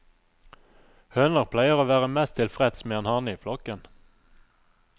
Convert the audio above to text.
Høner pleier å være mest tilfreds med en hane i flokken.